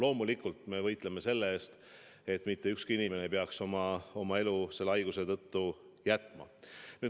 Loomulikult me võitleme selle nimel, et mitte ükski inimene ei peaks oma elu selle haiguse tõttu jätma.